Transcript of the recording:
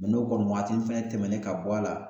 mɛ n'o kɔni wagati fɛnɛ tɛmɛnen ka bɔ a la